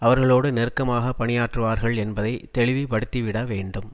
அவர்களோடு நெருக்கமாக பணியாற்றுவார்கள் என்பதை தெளிவுபடுத்திவிடவேண்டும்